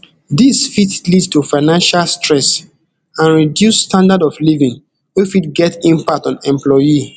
dis fit lead to financial stress and reduce standard of living wey fit get impact on employee